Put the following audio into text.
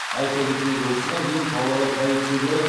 айта кетейік осыған дейін павлодар полицейлері